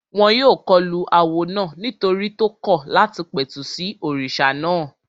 Wọ́n yóò kọlu awo náà nítorí tó kọ̀ láti pẹ̀tù sí òrìṣà náà